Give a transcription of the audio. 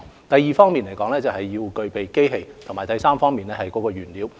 第二要具備機器，以及第三要有原材料。